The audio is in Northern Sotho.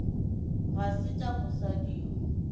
ga se tša mosadi yo